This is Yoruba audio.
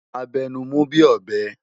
A bè nú mú bi óbè